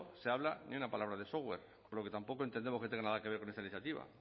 se habla ni una palabra de software por lo que tampoco entendemos que tenga nada que ver con esta iniciativa